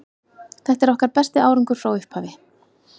Þetta er okkar besti árangur frá upphafi.